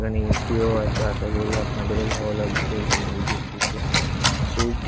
এখানে A .C ও আছে। আশা করি আপনাদের ও ভালো লাগছে এখানে এই জিম টিতে খুব।